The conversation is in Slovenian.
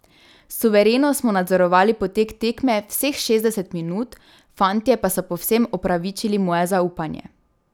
Suvereno smo nadzorovali potek tekme vseh šestdeset minut, fantje pa so povsem upravičili moje zaupanje.